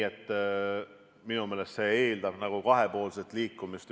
Minu meelest eeldab see kahepoolset liikumist.